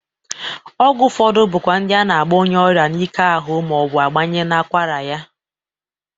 Ọgwụ ụfọdụ bụkwa ndị a na-agba onyeọrịa n'ike ahụ ma ọ bụ gbanye n'akwara ya.